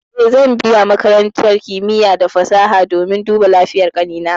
Eh, zan biya makarantar kimiya da fasaha domin duba lafiyar ƙanina.